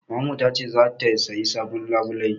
Mamarmu ta ce za ta sayi sabon labulai.